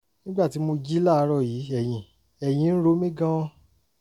nígbà tí mo jí láàárọ̀ yìí ẹ̀yìn ẹ̀yìn ń ro mí gan-an